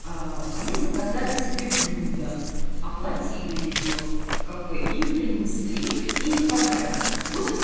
они заказали себе блюдо оплатили его в кафе им принесли и не понравилось будут ли